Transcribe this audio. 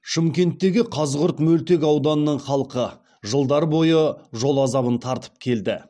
шымкенттегі қазығұрт мөлтек ауданының халқы жылдар бойы жол азабын тартып келді